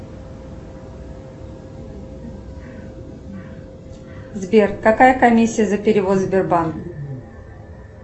сбер какая комиссия за перевод сбербанк